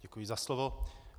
Děkuji za slovo.